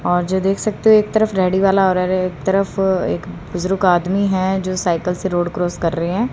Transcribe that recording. और जो देख सकते हो एक तरफ रेड्डी वाला एक तरफ एक बुजुर्ग आदमी हैं जो साइकिल से रोड क्रॉस कर रहे हैं।